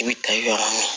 I bi tagama